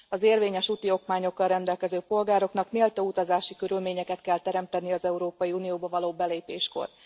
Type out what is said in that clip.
Az érvényes úti okmányokkal rendelkező polgároknak méltó utazási körülményeket kell teremteni az Európai Unióba való belépéskor.